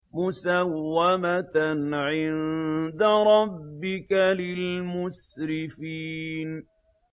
مُّسَوَّمَةً عِندَ رَبِّكَ لِلْمُسْرِفِينَ